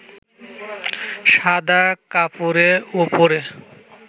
সাদা কাপড়ের উপরে